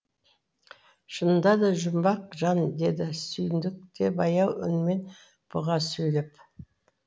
шынында да жұмбақ жан деді сүйіндік те баяу үнмен бұға сөйлеп